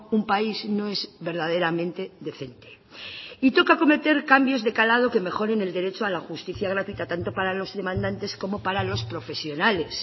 un país no es verdaderamente decente y toca cometer cambios de calado que mejoren el derecho a la justicia gratuita tanto para los demandantes como para los profesionales